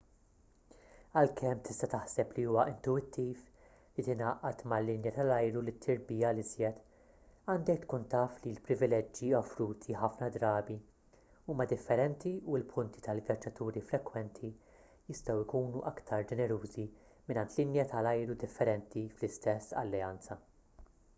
għalkemm tista' taħseb li huwa intuwittiv li tingħaqad mal-linja tal-ajru li ttir biha l-iżjed għandek tkun taf li l-privileġġi offruti ħafna drabi huma differenti u l-punti tal-vjaġġaturi frekwenti jistgħu jkunu aktar ġenerużi mingħand linja tal-ajru differenti fl-istess alleanza